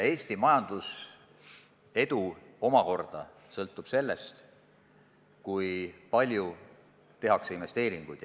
Eesti majanduse edu omakorda sõltub sellest, kui palju tehakse investeeringuid.